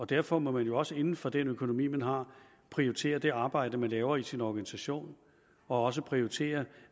derfor må man jo også inden for den økonomi man har prioritere det arbejde man laver i sin organisation og også prioritere